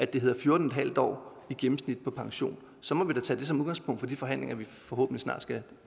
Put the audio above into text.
det hedder fjorten en halv år i gennemsnit på pension så må vi da tage det som udgangspunkt for de forhandlinger vi forhåbentlig snart skal